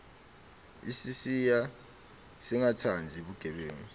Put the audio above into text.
isisiya singatsandzi bugebengu